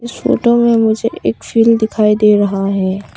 इस फोटो में मुझे एक फील्ड दिखाई दे रहा है।